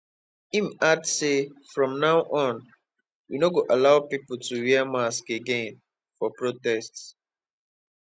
im add say from now on we no go allow pipo to wear masks again for protests